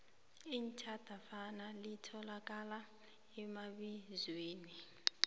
itjhadafana litholakala emabizweni